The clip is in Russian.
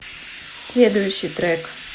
следующий трек